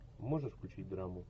можешь включить драму